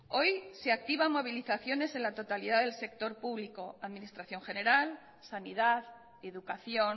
hoy se activan movilizaciones en la totalidad del sector público administración general sanidad educación